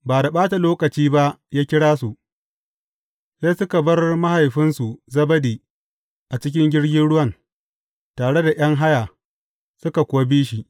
Ba da ɓata lokaci ba, ya kira su, sai suka bar mahaifinsu Zebedi a cikin jirgin ruwan, tare da ’yan haya, suka kuwa bi shi.